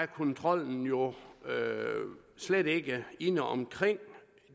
kontrollen jo slet ikke inde omkring